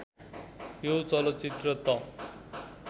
यो चलचित्र त